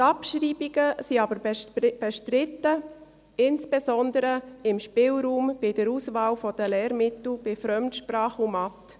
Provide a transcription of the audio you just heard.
Die Abschreibungen sind aber bestritten, insbesondere beim Spielraum bei der Auswahl der Lehrmittel bei Fremdsprachen und Mathe.